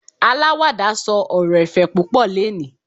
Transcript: alawada sọ ọrọ ẹ̀fẹ̀ púpò leni